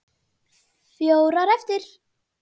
Fjórar eftir.